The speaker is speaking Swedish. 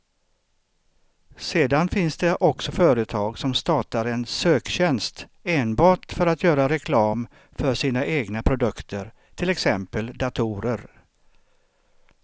Sedan finns det också företag som startar en söktjänst enbart för att göra reklam för sina egna produkter, till exempel datorer.